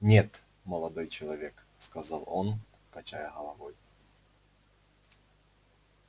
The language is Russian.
нет молодой человек сказал он качая головой